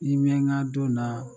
Ni nbɛ n ka don na